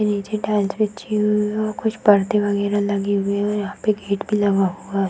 नीचे टाइल्स बिछी हुई है और कुछ पर्दे वगेरा लगे हुए है और यहाँ पर गेट भी लगा हुआ है।